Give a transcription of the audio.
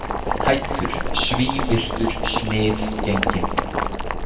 Hæddur, svívirtur, sniðgenginn.